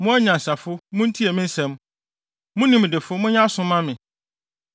“Mo anyansafo, muntie me nsɛm; mo nimdefo monyɛ aso mma me.